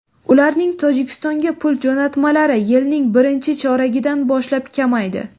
Ularning Tojikistonga pul jo‘natmalari yilning birinchi choragidan boshlab kamaydi.